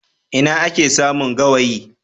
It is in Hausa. Ina ake samun gawayi?